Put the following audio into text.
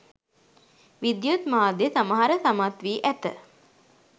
විද්යුත් මාධ්‍ය සමහර සමත්වී ඇත.